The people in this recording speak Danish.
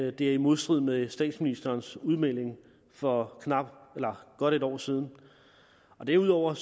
at det er i modstrid med statsministerens udmelding for godt et år siden derudover